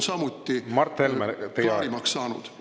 … ja meile on need julgeolekuohud klaarimaks saanud?